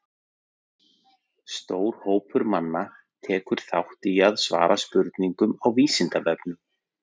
Stór hópur manna tekur þátt í að svara spurningum á Vísindavefnum.